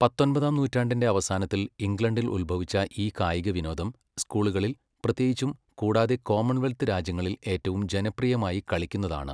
പത്തൊൻപതാം നൂറ്റാണ്ടിന്റെ അവസാനത്തിൽ ഇംഗ്ലണ്ടിൽ ഉത്ഭവിച്ച ഈ കായികവിനോദം സ്കൂളുകളിൽ പ്രത്യേകിച്ചും കൂടാതെ കോമൺവെൽത്ത് രാജ്യങ്ങളിൽ ഏറ്റവും ജനപ്രിയമായി കളിക്കുന്നതാണ്.